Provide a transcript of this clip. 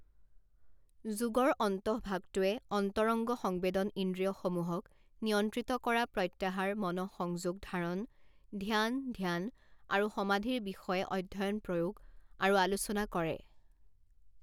যোগৰ অন্তঃভাগটোৱে অন্তৰঙ্গ সংবেদন ইন্দ্ৰিয় সমুহক নিয়ন্ত্ৰিত কৰা প্ৰত্যাহাৰ মনঃসংযোগ ধাৰণ ধ্যান ধ্যান আৰু সমাধিৰ বিষয়ে অধ্যয়ন প্ৰয়োগ আৰু আলোচনা কৰে।